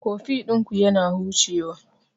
Koffi ɗinku yana hucewa..